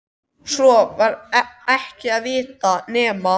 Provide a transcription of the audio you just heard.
Svo var ekki að vita nema